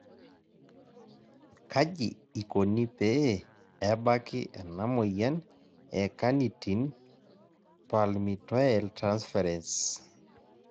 Kaji ikoni pee ebaki ena moyian e carnitine palmitoyltransferase